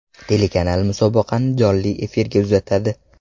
Telekanal musobaqani jonli efirga uzatadi.